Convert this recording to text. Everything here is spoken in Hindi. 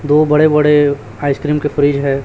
दो बड़े बड़े आइसक्रीम के फ्रिज है।